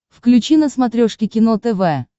включи на смотрешке кино тв